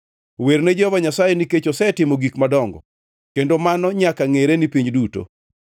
Werne Jehova Nyasaye nikech osetimo gik madongo; kendo mano nyaka ngʼere e piny duto.